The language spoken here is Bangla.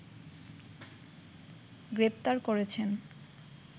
গ্রেপ্তার করছেন